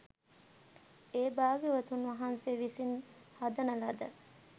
ඒ භාග්‍යවතුන් වහන්සේ විසින් හදන ලද